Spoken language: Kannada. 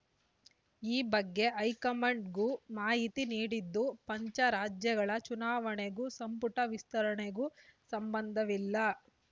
ಈ ಬಗ್ಗೆ ಹೈಕಮಾಂಡ್‌ಗೂ ಮಾಹಿತಿ ನೀಡಿದ್ದು ಪಂಚ ರಾಜ್ಯಗಳ ಚುನಾವಣೆಗೂ ಸಂಪುಟ ವಿಸ್ತರಣೆಗೂ ಸಂಬಂಧವಿಲ್ಲ